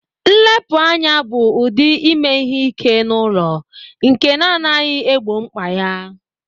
Nlepu anya bụ ụdị ime ihe ike n'ụlọ nke na-anaghị egbo mkpa ya